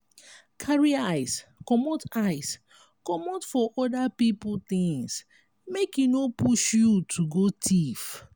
carry eyes comot eyes comot for oda pipo things make e no push you to go thief